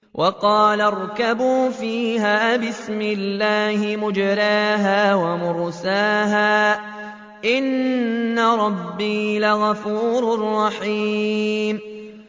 ۞ وَقَالَ ارْكَبُوا فِيهَا بِسْمِ اللَّهِ مَجْرَاهَا وَمُرْسَاهَا ۚ إِنَّ رَبِّي لَغَفُورٌ رَّحِيمٌ